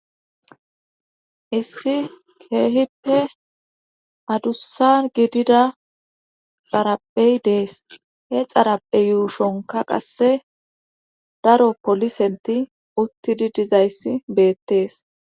Issi keehippe adussan gidida xaraphphey dees he xarappe yuushonka qasse daro polisenti uttidi dizayssi beettees